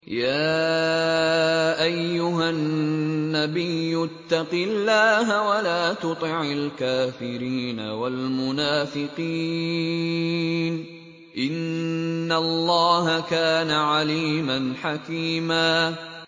يَا أَيُّهَا النَّبِيُّ اتَّقِ اللَّهَ وَلَا تُطِعِ الْكَافِرِينَ وَالْمُنَافِقِينَ ۗ إِنَّ اللَّهَ كَانَ عَلِيمًا حَكِيمًا